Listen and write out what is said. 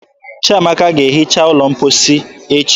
Chiamaka ga-ehicha ụlọ mposi echi